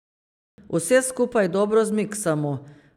Vse skupaj dobro zmiksamo.